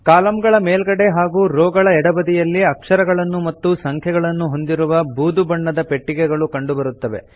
ಕಾಲಂಗಳ ಮೇಲ್ಗಡೆ ಹಾಗೂ ರೋ ಗಳ ಎಡಬದಿಯಲ್ಲಿ ಅಕ್ಷರಗಳನ್ನು ಮತ್ತು ಸಂಖ್ಯೆಗಳನ್ನು ಹೊಂದಿರುವ ಬೂದು ಬಣ್ಣದ ಪೆಟ್ಟಿಗೆಗಳು ಕಂಡುಬರುತ್ತವೆ